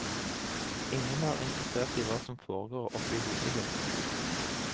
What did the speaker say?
Ingen er interessert i hva som foregår oppe i hodet ditt.